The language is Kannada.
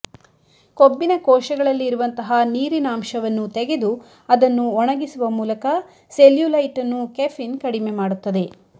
ಕೊಬ್ಬಿನ ಕೋಶಗಳಲ್ಲಿ ಇರುವಂತಹ ನೀರಿನಾಂಶವನ್ನು ತೆಗೆದು ಅದನ್ನು ಒಣಗಿಸುವ ಮೂಲಕ ಸೆಲ್ಯೂಲೈಟ್ ಅನ್ನು ಕೆಫಿನ್ ಕಡಿಮೆ ಮಾಡುತ್ತದೆ